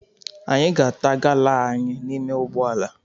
Anyị ga-ata gala anyị n'ime ụgbọala.